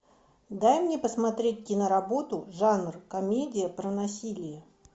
дай мне посмотреть киноработу жанр комедия про насилие